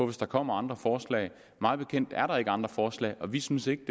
hvis der kommer andre forslag mig bekendt er der ikke kommet andre forslag og vi synes ikke